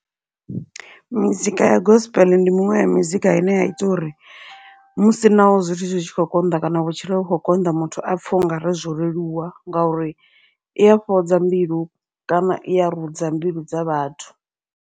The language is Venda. Mizika ya gospel ndi muṅwe ya mizika ine ya ita uri musi naho zwithu zwi tshi khou konḓa kana vhutshilo vhu kho konḓa, muthu apfhe ungari zwo leluwa ngauri iya fhodza mbilu kana iya ri rudza mbilu dza vhathu.